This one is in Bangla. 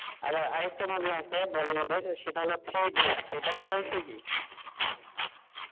আবার আর একটা movie আছে বড় মাপের থ্রি ইডিয়েট সেটা দেখা হয়েছে কি?